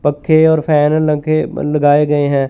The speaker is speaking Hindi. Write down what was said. पक्के और रंग के ब लगाए गए हैं।